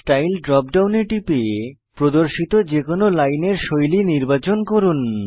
style drop ডাউনে টিপে প্রদর্শিত যে কোনো লাইনের শৈলী নির্বাচন করুন